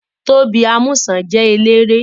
Tóbi Amúsàn jẹ́ eléré